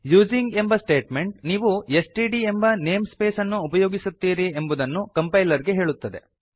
using ಎಂಬ statement ನೀವು STD ಎಂಬ ನೇಮ್ ಸ್ಪೇಸ್ ಅನ್ನು ಉಪಯೊಗಿಸುತ್ತೀರಿ ಎಂಬುದನ್ನು ಕಂಪೈಲರ್ ಗೆ ಹೇಳುತ್ತದೆ